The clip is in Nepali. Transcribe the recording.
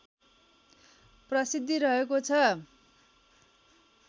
प्रसिद्धि रहेको छ